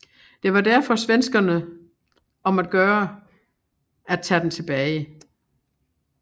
Det var derfor svenskerne om at gøre at tage den tilbage